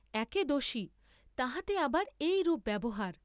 একে দোষী, তাহাতে আবার এইরূপ ব্যবহার!